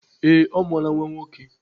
Ee, ọ mụọla nwa nwoke.